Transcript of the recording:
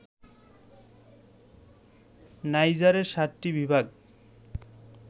নাইজারে ৭টি বিভাগ